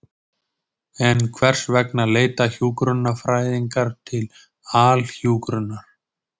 En hvers vegna leita hjúkrunarfræðingar til Alhjúkrunar?